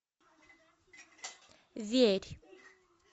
верь